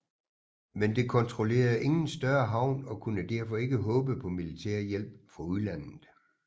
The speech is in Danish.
Men det kontrollerede ingen større havn og kunne derfor ikke håbe på militær hjælp fra udlandet